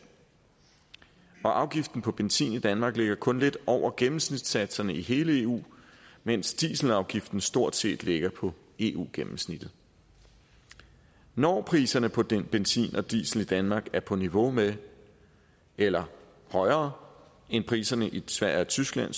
afgiften på benzin i danmark ligger kun lidt over gennemsnitssatserne i hele eu mens dieselafgiften stort set ligger på eu gennemsnittet når priserne på den benzin og diesel i danmark er på niveau med eller højere end priserne i sverige og tyskland